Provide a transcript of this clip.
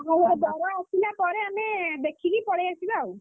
ତା ବର ଆସିଲା ପରେ, ଆମେ ଦେଖିକି ପଳେଇ ଆସିବା ଆଉ।